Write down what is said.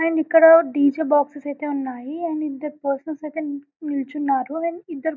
And ఇక్కడ DJ boxes ఐతే ఉన్నాయి. అండ్ ఇద్దరు పర్సన్స్ ఐతే నిలుచున్నారు అండ్ ఇద్దరు--